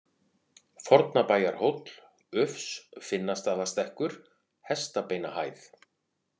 Fornabæjarhóll, Ufs, Finnastaðastekkur, Hestabeinahæð